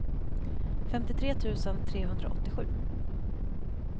femtiotre tusen trehundraåttiosju